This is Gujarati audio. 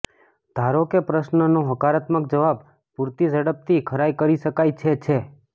ધારો કે પ્રશ્નનો હકારાત્મક જવાબ પૂરતી ઝડપથી ખરાઇ કરી શકાય છે છે